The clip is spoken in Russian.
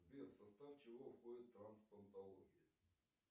сбер в состав чего входит трансплантология